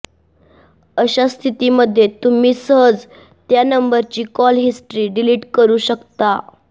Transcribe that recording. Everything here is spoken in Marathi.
अशा स्थितीमध्ये तुम्ही सहज त्या नंबरची कॉल हिस्ट्री डिलीट करू शकता